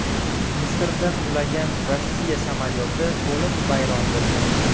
Misrda qulagan Rossiya samolyoti to‘liq vayron bo‘lgan.